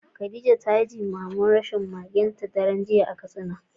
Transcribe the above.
Khadija ta yi jimamin rashin magenta daren jiya a Katsina.